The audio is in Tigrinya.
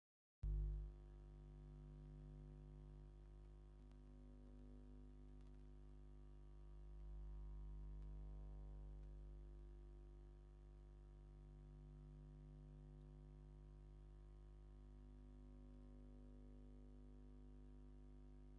እዞም ክልተ መርዑ እንሪኦም ዘለና ኦርተደኩስ ኣመንቲ እንትኮኑ እዞም መርዑ እዚኦም ብተክሊል ቃልኪዳን ኣሱሮም ንሪኦም ኣለና። እዚኦም ድማ ቁዱስ ቁርባን ቆሪቡም ንሪኦም ኣለና ።